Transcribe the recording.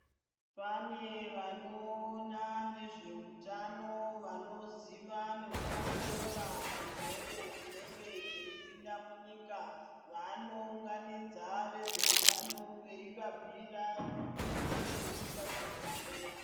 Pane vanoona nezveutano, vanoziva nekuongorora zvirwere zvinenge zveyipinda munyika, vanounganidza vezveutano veyi vabhuyira kuti chirwere chingakundwa seyi.